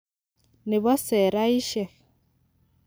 Nebo seraisiek.